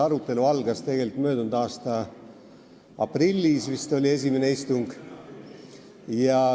Arutelu algas tegelikult juba möödunud aasta aprillis, siis oli vist esimene istung.